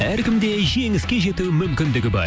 әркімде жеңіске жету мүмкіндігі бар